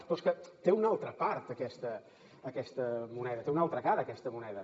però és que té una altra part aquesta moneda té una altra cara aquesta moneda